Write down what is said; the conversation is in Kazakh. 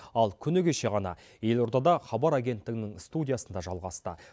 ал күні кеше ғана елордада хабар агенттігінің студиясында жалғасты